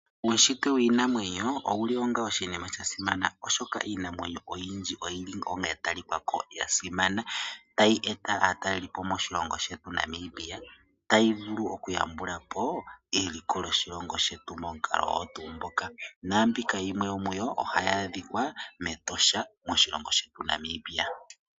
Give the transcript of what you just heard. Uushitwe wiinamwenyo owuli onga oshinima sha simana, oshoka iinamwenyo oyindji oyili ya tali kako ya simana. Tayi eta aatalelipo moshilongo shetu Namibia, tayi vulu oku yambulapo eliko lyoshilongo shetu momukalo ogo tuu ngoka, naambika yimwe yo muyo ohayi adhika mEtosha moshilongo shetu Namibia.